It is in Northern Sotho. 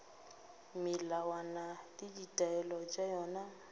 melawana le ditaelo tša yona